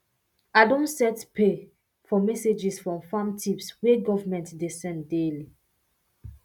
i don set pay for messages from farm tips wey government dey send daily